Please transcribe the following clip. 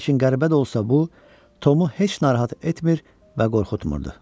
Lakin qəribə də olsa bu, Tomu heç narahat etmir və qorxutmurdu.